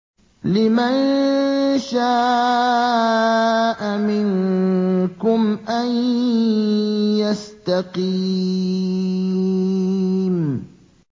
لِمَن شَاءَ مِنكُمْ أَن يَسْتَقِيمَ